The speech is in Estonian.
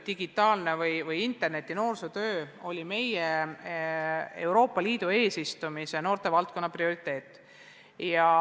Digitaalne ehk interneti noorsootöö oli meie Euroopa Liidu eesistumise ajal noortevaldkonna prioriteet.